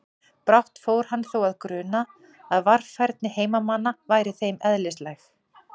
Brátt fór hann þó að gruna að varfærni heimamanna væri þeim eðlislæg.